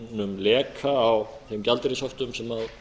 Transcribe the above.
ákveðnum leka á þeim gjaldeyrishöftum sem